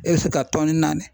E bɛ se ka tɔni naani.